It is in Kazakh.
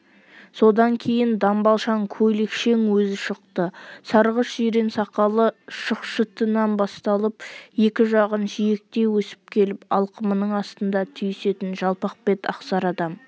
содан кейін дамбалшаң-көйлекшең өзі шықты сарғыш-жирен сақалы шықшытынан басталып екі жағын жиектей өсіп келіп алқымының астында түйісетін жалпақ бет ақсары адам